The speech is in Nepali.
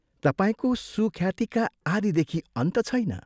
तपाईंको सुख्यातिका आदिदेखि अन्त छैन।